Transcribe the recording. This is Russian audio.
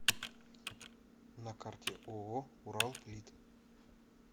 на карте ооо уралплит